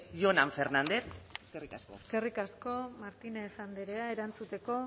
jonan fernández eskerrik asko eskerrik asko martínez andrea erantzuteko